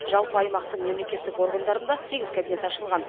жалпы аймақтың мемлекеттік органдарында сегіз кабинет ашылған